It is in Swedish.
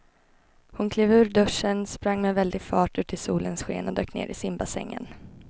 Hon klev ur duschen, sprang med väldig fart ut i solens sken och dök ner i simbassängen.